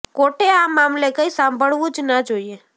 કોર્ટે આ મામલે કઇ સાંભળવું જ ના જોઇએ